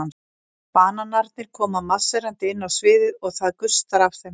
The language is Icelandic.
Bananarnir koma marserndi inn á sviðið og það gustar af þeim.